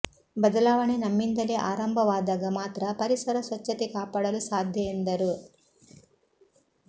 ಬದಲಾವಣೆ ನಮ್ಮಿಂದಲೇ ಆಂಭವಾದಾಗ ಮಾತ್ರ ಪರಿಸರ ಸ್ವಚ್ಚತೆ ಕಾಪಾಡಲು ಸಾಧ್ಯ ಎಂದರು